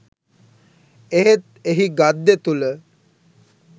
එහෙත් එහි ගද්‍ය තුළ